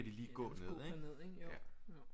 Nærmest gå derned ikke jo jo